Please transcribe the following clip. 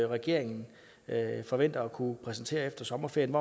regeringen forventer at kunne præsentere efter sommerferien